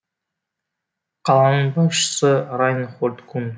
қаланың басшысы райнхольд кун